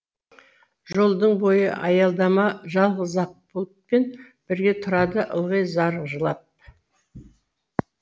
жолдың бойы аялдама жалғыз ақ бұлтпен бірге тұрады ылғи зар жылап